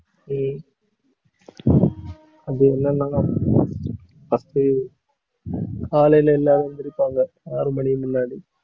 உம் அது என்னன்னா first உ காலையில எல்லாரும் எந்திருப்பாங்க. ஆறு மணிக்கு முன்னாடி